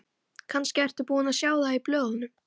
Kannski ertu búinn að sjá það í blöðunum.